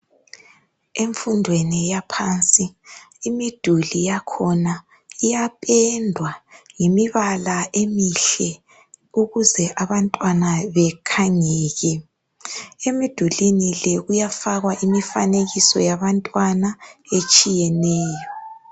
Emfundweni yaphansi imiduli yakhona iyapendwa ngemibala emihle ukuze abantwana bekhangeke. Emidulwini le kuyafakwa imifanekiso yabantwana etshiyeneyo.